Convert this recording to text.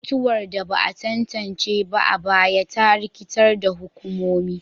Mutuwar da ba a tantance ba a baya ta rikitar da hukumomi,